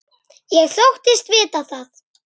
Ég þóttist vita það.